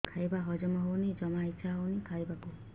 ଖାଇବା ହଜମ ହଉନି ଜମା ଇଛା ହଉନି ଖାଇବାକୁ